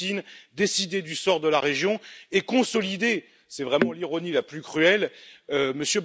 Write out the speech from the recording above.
Poutine décider du sort de la région et consolider, c'est vraiment l'ironie la plus cruelle, M.